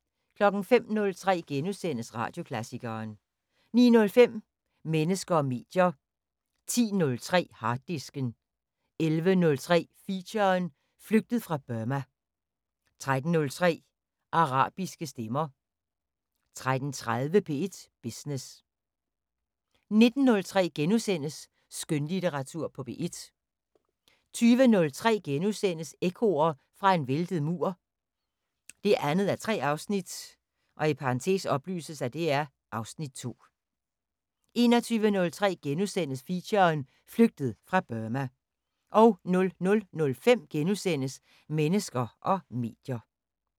05:03: Radioklassikeren * 09:05: Mennesker og medier 10:03: Harddisken 11:03: Feature: Flygtet fra Burma 13:03: Arabiske stemmer 13:30: P1 Business 19:03: Skønlitteratur på P1 * 20:03: Ekkoer fra en væltet mur 2:3 (Afs. 2)* 21:03: Feature: Flygtet fra Burma * 00:05: Mennesker og medier *